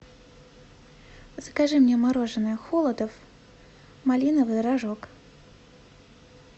закажи мне мороженое холодов малиновый рожок